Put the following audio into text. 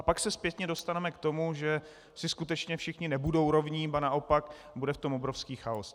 A pak se zpětně dostaneme k tomu, že si skutečně všichni nebudou rovni, ba naopak, bude v tom obrovský chaos.